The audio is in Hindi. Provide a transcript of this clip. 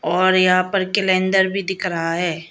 और यहां पर कैलेंडर भी दिख रहा है।